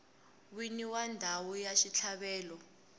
wini wa ndhawu ya xitlhavelo